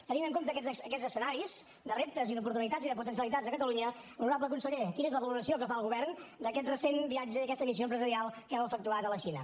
tenint en compte aquests escenaris de reptes i d’oportunitats i de potencialitats de catalunya honorable conseller quina és la valoració que fa el govern d’aquest recent viatge i aquesta missió empresarial que heu efectuat a la xina